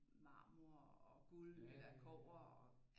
Marmor og guld eller kobber og